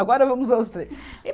Agora vamos aos três.